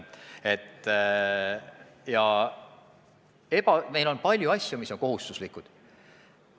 Ja meil on palju asju, mis on kohustuslikud.